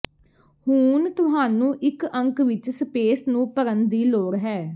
ਹੁਣ ਤੁਹਾਨੂੰ ਇਹ ਅੰਕ ਵਿੱਚ ਸਪੇਸ ਨੂੰ ਭਰਨ ਦੀ ਲੋੜ ਹੈ